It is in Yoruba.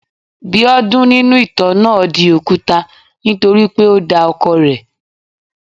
Biodun nínú ìtàn náà di òkúta nítorí pé o da ọkọ rẹ̀.